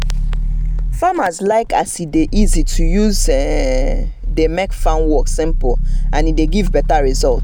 i just carry my book so that i fit write anything wey i no really understand as i dey waka